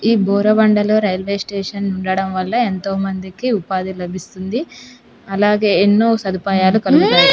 ఈ బోరబండ లో railway station ఉండడం వల్ల యెంతో మందికి ఉపాధి లబిస్తుంది. అలాగే యెన్నో సాధుపాయలు కలుగుతాయి.